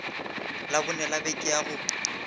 labone la beke ya go